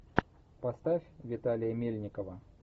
поставь виталия мельникова